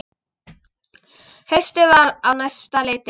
Haustið var á næsta leiti.